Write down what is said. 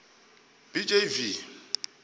b j v